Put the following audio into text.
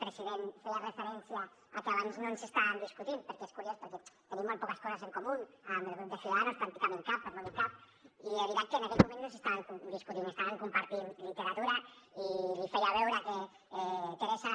president feia referència a que abans no ens estàvem discutint perquè és curiós perquè tenim molt poques coses en comú amb el grup de ciudadanos pràcticament cap per no dir cap i de veritat que en aquell moment no ens estàvem discutint estàvem compartint literatura i li feia veure que teresa